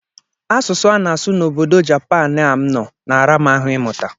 Asụsụ a ana na-asụ na obodo Japan a m nọ na-ara m ahụ ịmụta.